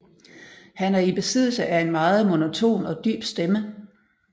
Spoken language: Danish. Han er i besiddelse af en meget monoton og dyb stemme